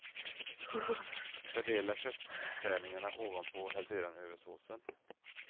Fördela köttärningarna ovanpå och häll sedan över såsen.